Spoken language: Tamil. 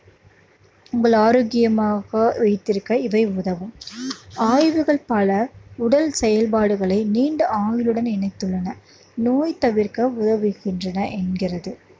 உங்கள் ஆரோக்கியமாக வைத்திருக்க இவை உதவும் ஆய்வுகள் பல உடல் செயல்பாடுகளை நீண்ட ஆயுளுடன் இணைத்துள்ளனர். நோய் தவிர்க்க என்கிறது